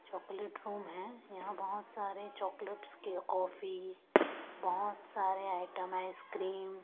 chocolate room है यहां बहुत सारे चॉकलेट्स के कॉफी बहुत सारे आइटम आइसक्रीम --